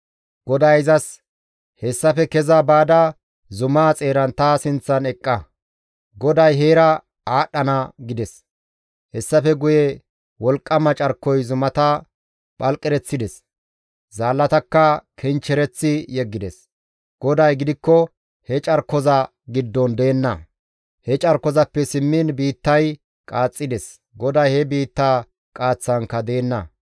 GODAY izas, «Hessafe keza baada zumaa xeeran ta sinththan eqqa; GODAY heera aadhdhana» gides. Hessafe guye wolqqama carkoy zumata phalqereththides; zaallatakka kinchchereththi yeggides; GODAY gidikko he carkoza giddon deenna. He carkozappe simmiin biittay qaaxxides; GODAY he biitta qaaththaankka deenna.